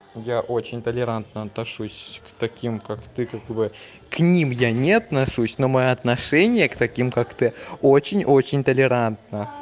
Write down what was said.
я очень толерантно отношусь к таким как ты как бы к ним я не отношусь но мои отношения к таким как ты очень очень толерантно